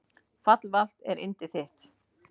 Fallvalt er yndi þitt.